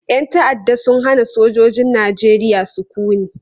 Yan ta'adda sun hana sojojin Najeriya sukuni.